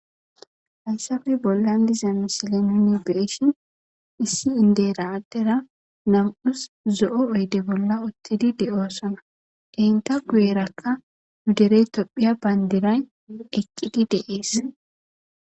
Hayssafe bollan diza misile nuni beeshin issi indeera adera nam7us zo7o oyde bolla oththidi de7osona denta kuuyeerakka gudere tophiya bayndiray eqqidi deees.